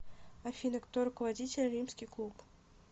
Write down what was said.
афина кто руководитель римский клуб